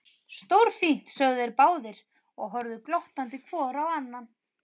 Stórfínt sögðu þeir báðir og horfðu glottandi hvor á annan.